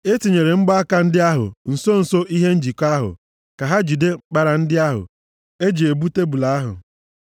E tinyere mgbaaka ndị ahụ nso nso ihe njikọ ahụ ka ha jide mkpara ndị ahụ, e ji ebu tebul ahụ.